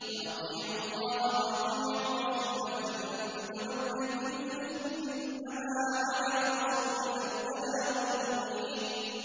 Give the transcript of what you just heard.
وَأَطِيعُوا اللَّهَ وَأَطِيعُوا الرَّسُولَ ۚ فَإِن تَوَلَّيْتُمْ فَإِنَّمَا عَلَىٰ رَسُولِنَا الْبَلَاغُ الْمُبِينُ